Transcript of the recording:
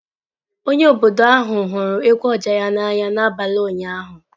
Onye obodo ahụ hụrụ egwu oja n'anya n'abalị ụnyaahụ.